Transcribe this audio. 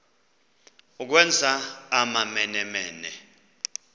ukwenza amamene mene